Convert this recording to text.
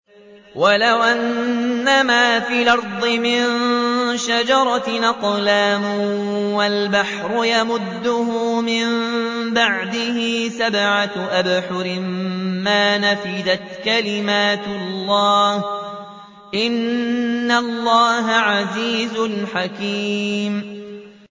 وَلَوْ أَنَّمَا فِي الْأَرْضِ مِن شَجَرَةٍ أَقْلَامٌ وَالْبَحْرُ يَمُدُّهُ مِن بَعْدِهِ سَبْعَةُ أَبْحُرٍ مَّا نَفِدَتْ كَلِمَاتُ اللَّهِ ۗ إِنَّ اللَّهَ عَزِيزٌ حَكِيمٌ